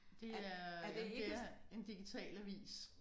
Det er jamen det er en digitalavis